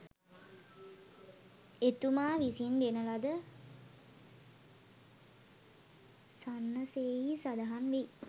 එතුමා විසින් දෙන ලද සන්නසෙහි සඳහන් වෙයි